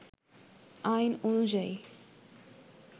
আইন অনুয়ায়ী